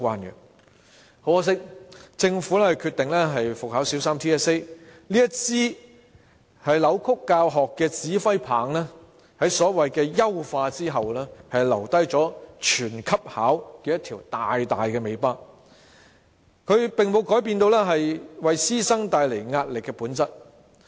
很可惜，政府決定復考小三 TSA， 這支扭曲教學的指揮棒在所謂優化後，留下"全級考"這條大大的尾巴，並沒有改變為師生帶來壓力的本質。